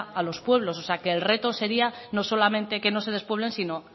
a los pueblos o sea que el reto sería no solamente que no se despueblen sino